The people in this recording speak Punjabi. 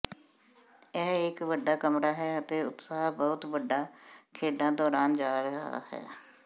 ਇਹ ਇੱਕ ਵੱਡਾ ਕਮਰਾ ਹੈ ਅਤੇ ਉਤਸ਼ਾਹ ਬਹੁਤ ਵੱਡਾ ਖੇਡਾਂ ਦੌਰਾਨ ਜਾ ਰਿਹਾ ਹੈ